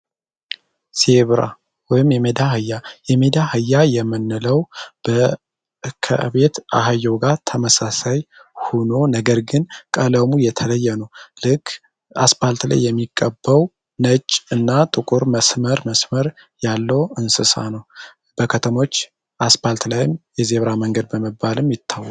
ዜብራ ወይም የሜዳ አህያ የሜዳ አህያ የምንለው በከቤት አህየው ጋር ተመሳሳይ ሆኖ ነገር ግን ቀለውሙ የተለየ ነው። ልክ አስባልት ላይ የሚቀበው ነጭ እና ጥቁር መስመር መስመር ያለው እንስሳ ነው። በከተሞች አስባልት ላይም የዜብራ መንገድ በመባልም ይታወቃል።